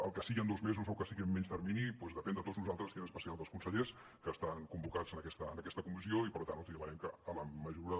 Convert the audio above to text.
el que sigui en dos mesos o que sigui en menys termini doncs depèn de tots nosaltres i en especial dels consellers que estan convocats en aquesta comissió i per tant els demanem que en la mesura de